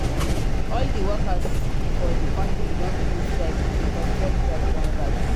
All di workers for di country don begin strike because fuel price don rise.